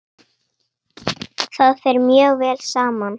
Það fer mjög vel saman.